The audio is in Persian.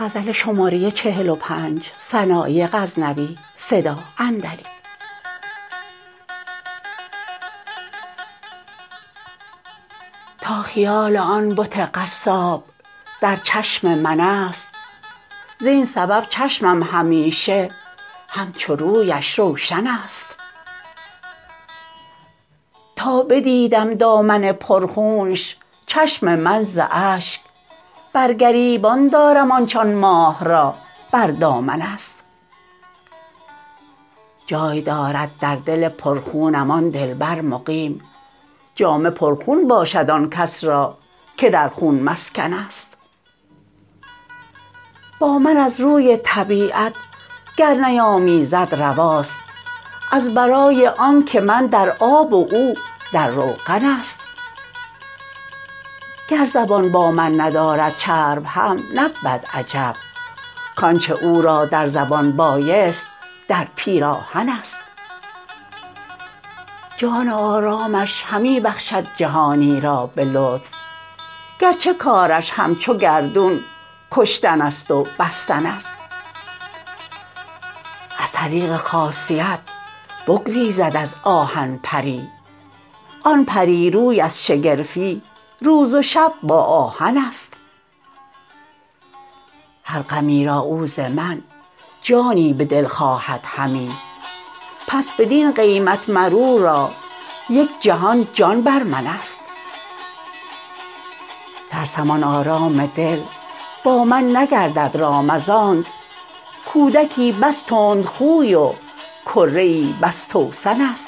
تا خیال آن بت قصاب در چشم من است زین سبب چشمم همیشه همچو رویش روشن است تا بدیدم دامن پر خونش چشم من ز اشگ بر گریبان دارم آنچ آن ماه را بر دامن است جای دارد در دل پر خونم آن دلبر مقیم جامه پر خون باشد آن کس را که در خون مسکن است با من از روی طبیعت گر نیامیزد رواست از برای آنکه من در آب و او در روغن است گر زبان با من ندارد چرب هم نبود عجب کانچه او را در زبان بایست در پیراهن است جان آرامش همی بخشد جهانی را به لطف گرچه کارش همچو گردون کشتن ست و بستن است از طریق خاصیت بگریزد از آهن پری آن پریروی از شگرفی روز و شب با آهن است هر غمی را او ز من جانی به دل خواهد همی پس بدین قیمت مر او را یک جهان جان بر من است ترسم آن آرام دل با من نگردد رام از آنک کودکی بس تند خوی و کره ای بس توسن است